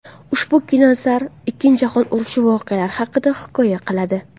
Ushbu kinoasar Ikkinchi jahon urushi voqealari haqida hikoya qiladi.